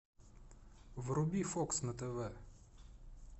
вруби фокс на тв